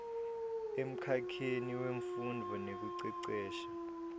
emkhakheni wemfundvo nekucecesha